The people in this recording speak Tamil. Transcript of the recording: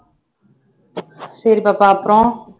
சரி பாப்பா அப்புறம்